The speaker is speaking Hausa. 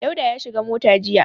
Dauda ya shiga mota jiya.